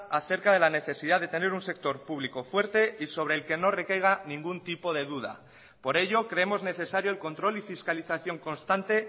acerca de la necesidad de tener un sector público fuerte y sobre el que no recaiga ningún tipo de duda por ello creemos necesario el control y fiscalización constante